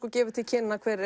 gefið til kynna